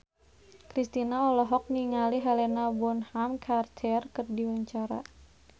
Kristina olohok ningali Helena Bonham Carter keur diwawancara